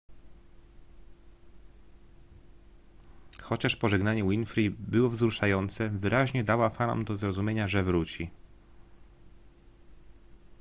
chociaż pożegnanie winfrey było wzruszające wyraźnie dała fanom do zrozumienia że wróci